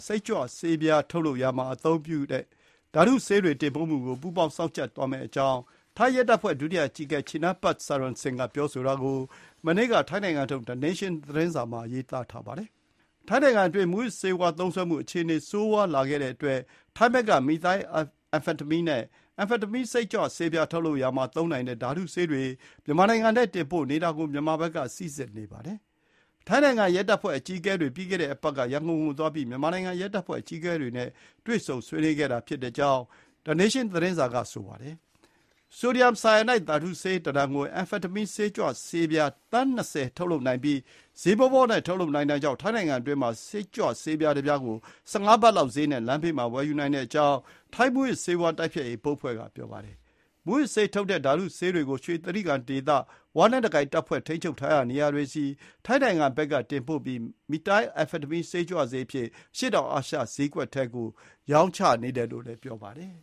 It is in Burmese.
စိတ်ကြွဆေးပြားထုတ်လုပ်ရာမှာ အသုံးပြုတဲ့ဓါတုဆေးတွေတင်ပို့မှုကို ထိုင်းနဲ့ မြန်မာနှစ်နိုင်ငံရဲတပ်ဖွဲ့ကြား ပူးပေါင်း စောင့်ကြပ်သွားမယ့်အကြောင်း ထိုင်းရဲတပ်ဖွဲ့ ဒုတိယအကြီးအကဲ Chinnapat Sarasin ကို ကိုးကားပြီး မနေ့က ထိုင်းနိုင်ငံထုတ် The Nation သတင်းစာမှာ ရေးသားထားပါတယ်။ ထိုင်းနိုင်ငံအတွင်း မူးယစ်ဆေးဝါးသုံးစွဲမှုအခြေအနေ ဆိုးဝါးလာတဲ့အတွက် ထိုင်းဘက်က မီသိုင်းအမ်ဖာတမင်းနဲ့ အမ်ဖာတမင်း စိတ်ကြွဆေးပြား ထုတ်လုပ်ရာမှာသုံးနိုင်တဲ့ ဓါတုဆေးတွေ မြန်မာနိုင်ငံထဲတင်ပို့နေတာကို ကြပ်မတ်ဖို့ တောင်းဆိုခဲ့တာပါ။ ထိုင်းနိုင်ငံ ရဲတပ်ဖွဲ့အကြီးအကဲတွေ ပြီးခဲ့တဲ့အပတ်က ရန်ကုန်ကိုသွားပြီး မြန်မာနိုင်ငံ ရဲတပ်ဖွဲ့ အကြီးအကဲတွေနဲ့ တွေ့ဆုံဆွေးနွေးခဲ့တဲ့အကြောင်း The Nation သတင်းစာမှာ ရေးသားထားပါတယ်။ ဆိုဒီယမ် ဆိုင်ယာနိုက် ဓါတုဆေး တတန်ကို အမ်ဖာတမင်း စိတ်ကြွဆေးပြား သန်း ၂၀ ထုတ်လုပ်နိုင်ပြီး ဈေးပေါပေါနဲ့ ထုတ်လုပ်နိုင်တာကြောင့် ထိုင်းနိုင်ငံအတွင်းမှာ စိတ်ကြွဆေးပြား တပြားကို ၁၅ ဘတ်လောက်ဈေးနဲ့ လမ်းဘေးမှာ ဝယ်ယူနိုင်တဲ့အကြောင်း ထိုင်း မူးယစ်ဆေးဝါး တိုက်ဖျက်ရေးဘုတ်အဖွဲ့က ပြောပါတယ်။ မူးယစ်ဆေးထုတ်နိုင်တဲ့ ဓါတုဆေးတွေကို ရွှေတြိဂံဒေသ ဝလက်နက်ကိုင်အဖွဲ့ ထိန်းချုပ်ရာနေရာတွေဆီ ထိုင်းနိုင်ငံဘက်ကတင်ပို့ပြီး မီသိုင်းအမ်ဖာတမင်း စိတ်ကြွဆေးအဖြစ် အရှေ့တောင်အာရှ ဈေးကွက်ထဲကို ရောင်းချနေတယ် လို့လည်း ပြောပါတယ်